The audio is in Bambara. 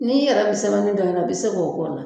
N'i yɛrɛ bi sɛbɛnni dɔn yɛrɛ i bi se k'o k'o la